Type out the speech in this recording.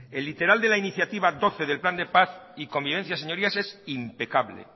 el literal de la iniciativa doce del plan de paz y convivencia señorías es impecable